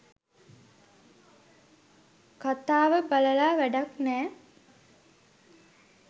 කථාව බලලා වැඩක් නෑ.